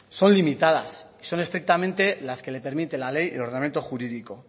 son limitadas y son estrictamente las que le permite la ley el ordenamiento jurídico